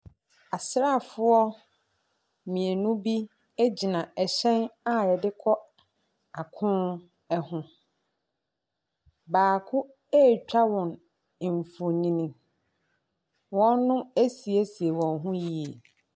Asraafoɔ mmienu bi gyina ɛhyɛn a wɔde kɔ ako ho. Baako retwa wɔn mfonin. Wɔasiesie wɔn ho yie.